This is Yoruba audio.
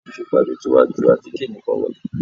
Ìfipajú ti wá ju àtíkè nìkan lọ.